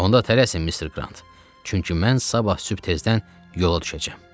Onda tələsin, Mister Qrant, çünki mən sabah sübh tezdən yola düşəcəm.